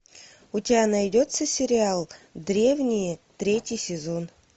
у тебя найдется сериал древние третий сезон